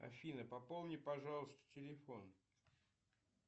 афина пополни пожалуйста телефон